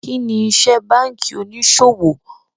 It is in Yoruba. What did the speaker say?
Kíni ìṣẹ bankí oníṣọwọ̀?